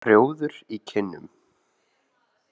Rjóður í kinnum.